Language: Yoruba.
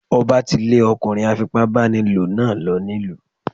Ọba tí lè ọkùnrin afipá báni lò náà lọ nílùú.